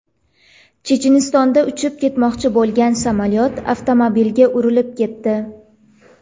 Chechenistonda uchib ketmoqchi bo‘lgan samolyot avtomobilga urilib ketdi.